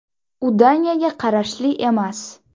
U Daniyaga qarashli emas.